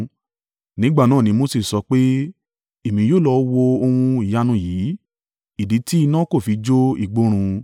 Nígbà náà ni Mose sọ pé, “Èmi yóò lọ wo ohun ìyanu yìí, ìdí tí iná kò fi jó igbó run.”